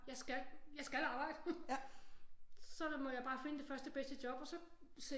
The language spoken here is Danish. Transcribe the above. Jeg skal jeg skal arbejde så må jeg bare finde det første det bedste job og så